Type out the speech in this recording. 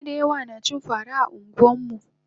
mutane dayawa nacin fara a anguwanmu